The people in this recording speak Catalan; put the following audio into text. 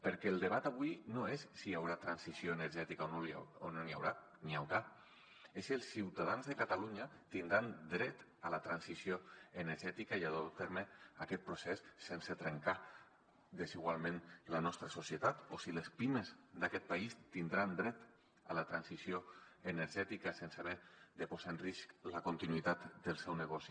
perquè el debat avui no és si hi haurà transició energètica o no n’hi haurà n’hi haurà és si els ciutadans de catalunya tindran dret a la transició energètica i a dur a terme aquest procés sense trencar desigualment la nostra societat o si les pimes d’aquest país tindran dret a la transició energètica sense haver de posar en risc la continuïtat del seu negoci